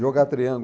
Jogar triângulo.